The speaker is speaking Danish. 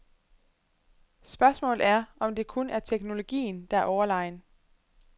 Spørgsmålet er, om det kun er teknologien, der er overlegen.